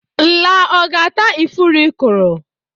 Nla ọ ga-ata ifuru ị kọrọ?